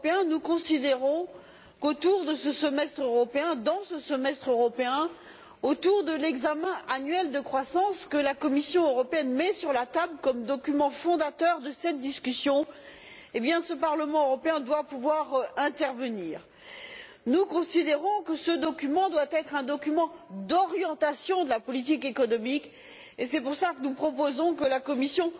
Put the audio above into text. Nous considérons que dans le cadre de ce semestre européen, autour de l'examen annuel de la croissance que la Commission européenne met sur la table comme document fondateur de cette discussion, nous devons, en tant que Parlement européen, pouvoir intervenir. Nous considérons que ce document doit être un document d'orientation de la politique économique et c'est pour cela que nous proposons que la Commission,